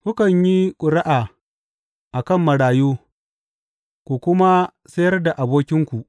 Kukan yi ƙuri’a a kan marayu ku kuma sayar da abokinku.